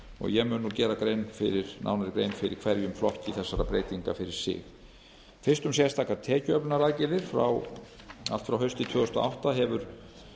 ég mun nú gera nánari grein fyrir hverjum flokki þessara breytinga fyrir sig fyrst um sérstakar tekjuöflunaraðgerðir allt frá hausti tvö þúsund og átta hefur